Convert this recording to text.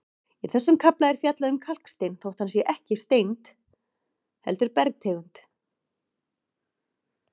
Í þessum kafla er fjallað um kalkstein þótt hann sé ekki steind heldur bergtegund.